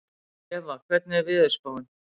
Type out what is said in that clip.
Eva, hvernig er veðurspáin?